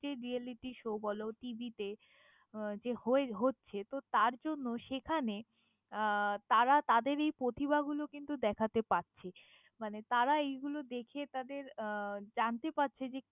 যে reality show বলো টিভিতে যে হয়ে~হচ্ছে তো তার জন্য সেখানে আহ তারা তাদের এই প্রতিভাগুলোকে কিন্তু দেখতে পারছে মানে তারা এগুলো দেখে তাদের আহ জানতে পারছে।